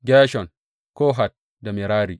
Gershon, Kohat da Merari.